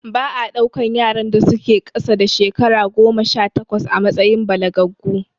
Ba a ɗaukan yaran da su ke ƙasa da shekara goma sha takwas a matsayin balagaggu